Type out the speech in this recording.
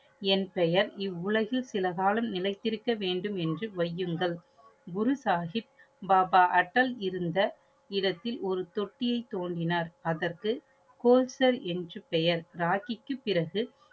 என் பெயர் இவ் உலகில் சில காலம் நிலைத்திருக்க வேண்டும் என்று வையுங்கள். குரு சாஹிப் பாபா அட்டல் இருந்த இடத்தில் ஒரு தொட்டியை தோன்றினார். அதற்கு கோஸ்டல் என்று பெயர். ராக்கிக்கு பிறகு